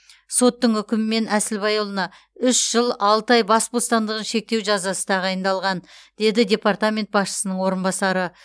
соттың үкімімен әсілбайұлына үш жыл алты ай бас бостандығын шектеу жазасы тағайындалған деді департамент басшысының орынбасары